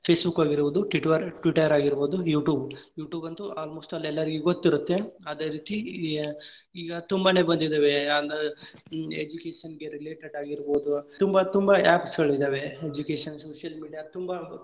Facebook ಆಗಿರ್ಬಹುದ್ Twitter ಆಗಿರ್ಬಹುದ್ YouTube, YouTube ಅಂತು almost ಅಲ್ ಎಲ್ಲಾರಿಗೂ ಗೊತ್ತ್ ಇರುತ್ತೆ ಅದೇ ರೀತಿ ಈಗ ತುಂಬಾನೆ ಬಂದಿದಾವೆ education ಗೆ related ಆಗಿರ್ಬಹುದು ತುಂಬಾ ತುಂಬಾ apps ಗಳಿದಾವೆ education social media ತುಂಬಾ.